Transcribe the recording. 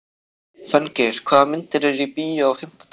Fanngeir, hvaða myndir eru í bíó á fimmtudaginn?